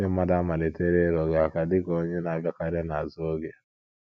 Ndị mmadụ àamalitela ịrụ gị aka dị ka onye na - abịakarị n’azụ oge